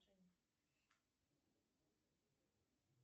афина квадратный корень из ста сорока четырех